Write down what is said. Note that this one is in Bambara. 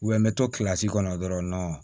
n bɛ to kɔnɔ dɔrɔn